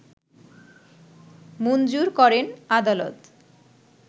মুঞ্জুর করেন আদালত